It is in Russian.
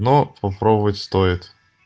но попробовать стоит